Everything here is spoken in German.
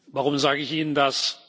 Warum sage ich Ihnen das?